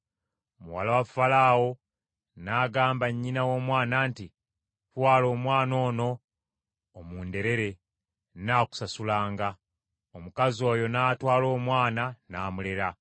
Muwala wa Falaawo n’agamba nnyina w’omwana nti, “Twala omwana ono omunderere, nnaakusasulanga.” Omukazi oyo n’atwala omwana n’amulera.